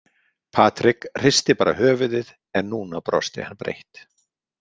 Patrik hristi bara höfuðið en núna brosti hann breitt.